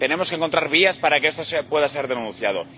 Tenemos que encontrar vías para que esto pueda ser denunciado.